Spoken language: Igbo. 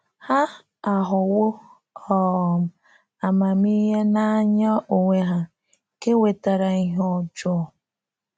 Ha aghọwo um “amamihe n’anya onwe ha,” nke wetara ihe ojoo.